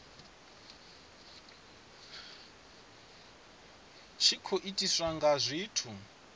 tshi khou itiswa nga zwithu